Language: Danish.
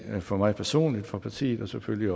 for mig personligt for partiet og selvfølgelig